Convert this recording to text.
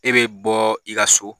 E be bɔ i ka so